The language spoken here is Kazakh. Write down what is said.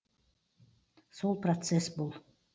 сол процесс бұл